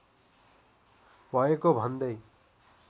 भएको भन्दै